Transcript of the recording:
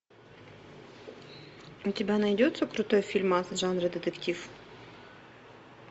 у тебя найдется крутой фильмас жанра детектив